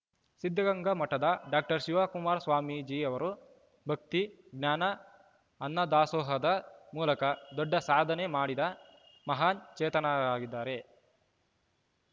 ಸಿದ್ಧಗಂಗಾ ಮಠದ ಡಾಕ್ಟರ್ ಶಿವಕುಮಾರ ಸ್ವಾಮೀಜಿ ಅವರು ಭಕ್ತಿ ಜ್ಞಾನ ಅನ್ನ ದಾಸೋಹದ ಮೂಲಕ ದೊಡ್ಡ ಸಾಧನೆ ಮಾಡಿದ ಮಹಾನ್‌ ಚೇತನರಾಗಿದ್ದಾರೆ